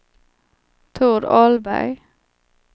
Tord Ahlberg